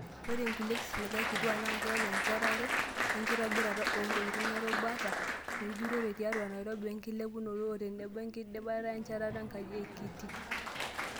Ore nkulia kisiligat kituak naa keeku enjetare wekinkitobiraa oontokitin erubata ejurore tiatu Nairobi wengilepunoto otenebo enkidipata enchetara onkaji te KITI.